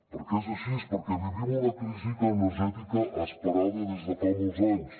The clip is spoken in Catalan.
perquè és així perquè vivim una crisi energètica esperada des de fa molts anys